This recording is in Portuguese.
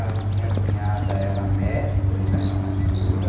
A minha cunhada era mestre, né, de costura.